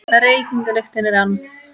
Reykingalyktin er ann